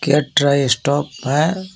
Kit try stop है.